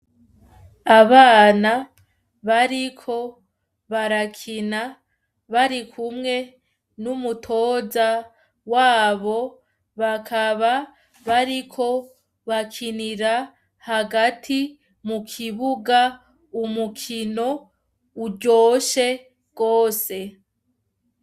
Abana bariko barakina bari kumwe n'umutoza wabo bakaba bariko bakinira hagati mu kibuga umukino uryoshe rwose e.